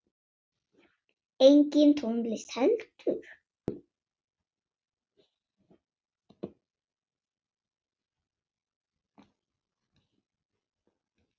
Engin tónlist heldur.